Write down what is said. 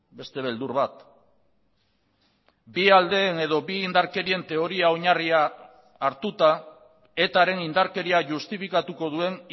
beste beldur bat bi aldeen edo bi indarkerien teoria oinarria hartuta eta ren indarkeria justifikatuko duen